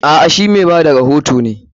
A'a, she mai ba da rohoto ne.